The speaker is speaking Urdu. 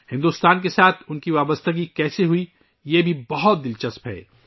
ہندوستان کے ساتھ ، اُن کا تعلق کیسے ہوا ، یہ بھی بہت دلچسپ ہے